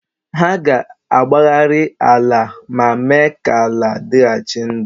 Ha ga-agbagharị ala ma mee ka ala dịghachi ndụ.